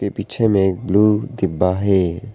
पीछे में एक ब्लू डिब्बा है।